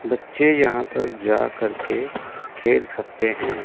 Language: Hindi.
बच्चे यहां पर जाकर के खेल सकते हैं।